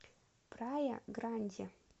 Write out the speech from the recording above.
прая гранди